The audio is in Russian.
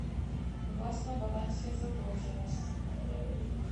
у вас на балансе задолженность